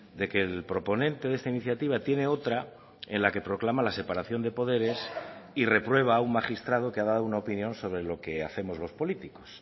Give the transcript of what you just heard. de que el proponente de esta iniciativa tiene otra en la que proclama la separación de poderes y reprueba a un magistrado que ha dado una opinión sobre lo que hacemos los políticos